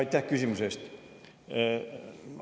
Aitäh küsimuse eest!